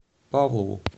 павлову